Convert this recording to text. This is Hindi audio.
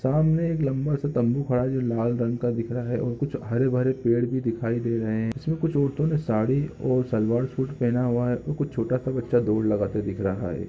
सामने एक लम्बा सा तम्बू खड़ा है जो लाल रंग का दिख रहा है और कुछ हरे-भरे पेड़ भी दिखाई दे रहे है इसमे कुछ औरतों ने साड़ी और सलवार सूट पहना हुआ है और कुछ छोटा-सा बच्चा दौड़ लगाते दिख रहा है।